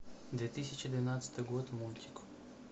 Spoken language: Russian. две тысячи двенадцатый год мультик